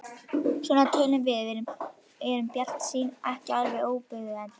Svona tölum við og erum bjartsýn, ekki alveg óbuguð ennþá.